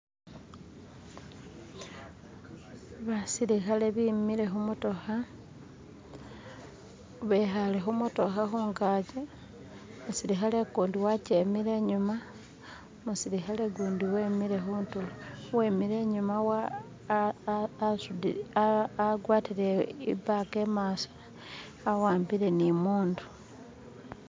Basilikhale bimile khumotokha bekhale khumotokha khungachi umusilikhale kundi wachemile inyuma umusilikhale kundi wemile khundulo. wemile inyuma wa a a asudile a a agwatile ibaga imaaso awambile ni mundu